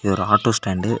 இது ஒரு auto stand .